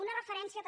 una referència també